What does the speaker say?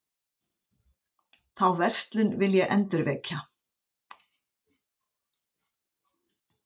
Þá verslun vil ég endurvekja.